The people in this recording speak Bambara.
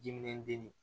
Diminen den